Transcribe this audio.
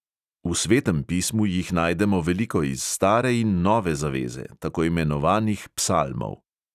V svetem pismu jih najdemo veliko iz stare in nove zaveze, tako imenovanih psalmov.